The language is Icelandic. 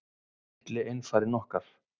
Litli einfarinn okkar.